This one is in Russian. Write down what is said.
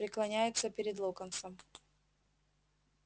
преклоняется перед локонсом